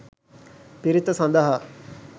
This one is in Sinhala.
පිරිත සඳහා